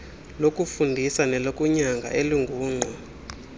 lokufundisa nelokunyanga elingungqa